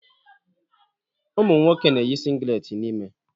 Ụmụ nwoke na-eyi singlet n'ime.